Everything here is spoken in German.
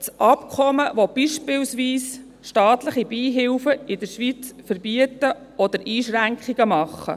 Das Abkommen will beispielsweise staatliche Beihilfen in der Schweiz verbieten oder Einschränkungen machen.